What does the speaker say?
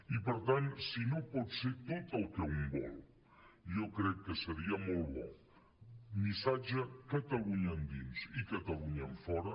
i per tant si no pot ser tot el que un vol jo crec que seria molt bon missatge catalunya endins i catalunya enfora